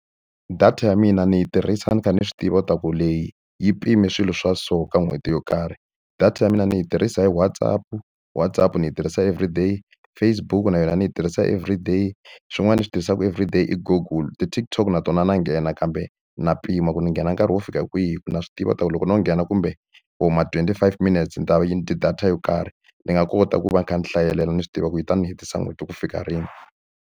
Data ya mina ni yi tirhisa ni kha ni swi tiva leswaku leyi yi pime swilo swa so ka n'hweti yo karhi. Data ya mina ni yi tirhisa hi WhatsApp-u, WhatsApp ni yi tirhisa everyday, Facebook na yona ni yi tirhisa everyday. Xin'wana lexi ni xi tirhisaka everyday i Google, ti-TikTok na tona na nghena. Kambe na mpimo ku ni nghena nkarhi wo fika kwihi ku na swi tiva leswaku loko no nghena kumbe or ma twenty-five minutes ni ta va yi ni dye data yo karhi. Ni nga kota ku va ni kha ni hlayelela ni swi tiva ku yi ta ni hetisa n'hweti ku fika rini.